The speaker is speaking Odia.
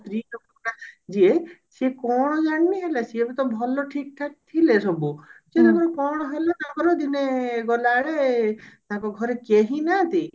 ସ୍ତ୍ରୀଲୋକ ଟା ଯିଏ ସିଏ କଣ ଜାଣିନି ହେଲା ସିଏ ବି ତ ଭଲ ଠିକ ଠାକ ଥିଲେ ସବୁ କେଜାଣି କଣ ହେଲା ଦିନେ ଗଲାବେଳେ ତାଙ୍କ ଘରେ କେହିନାହାନ୍ତି